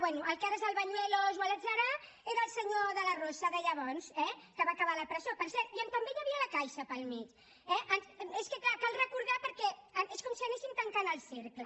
bé el que ara és el bañuelos o l’adserà era el senyor de la rosa de llavors eh que va acabar a la presó per cert i on també hi havia la caixa pel mig eh és que és clar cal recordar perquè és com si anéssim tancant el cercle